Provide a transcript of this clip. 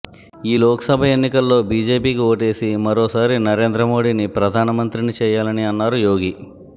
ఈ లోక్ సభ ఎన్నికల్లో బీజేపీకి ఓటేసి మరోసారి నరేంద్ర మోడీని ప్రధాన మంత్రిని చేయాలని అన్నారు యోగి